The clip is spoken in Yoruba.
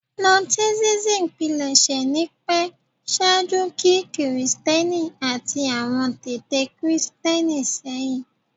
Gnosticism pilẹṣẹ ni pẹ ṣaaju ki-Kristiẹni ati awọn tete Christian sehin